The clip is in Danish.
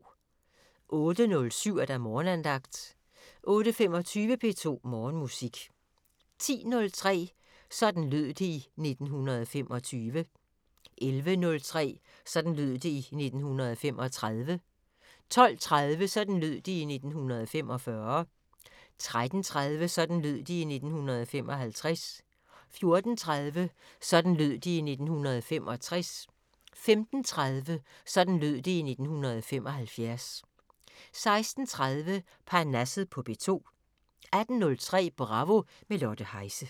08:07: Morgenandagten 08:25: P2 Morgenmusik 10:03: Sådan lød det i 1925 11:03: Sådan lød det i 1935 12:30: Sådan lød det i 1945 13:30: Sådan lød det i 1955 14:30: Sådan lød det i 1965 15:30: Sådan lød det i 1975 16:30: Parnasset på P2 18:03: Bravo – med Lotte Heise